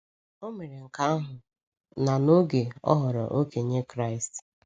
O mere nke ahụ, na n’oge, ọ ghọrọ okenye Kraịst.